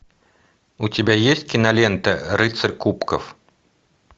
у тебя есть кинолента рыцарь кубков